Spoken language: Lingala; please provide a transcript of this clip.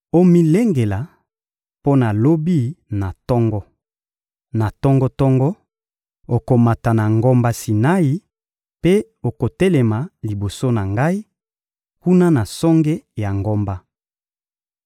Omilengela mpo na lobi na tongo. Na tongo-tongo, okomata na ngomba Sinai mpe okotelema liboso na Ngai, kuna na songe ya ngomba.